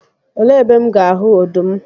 Elee ebe M ga-ahụ ọdụm?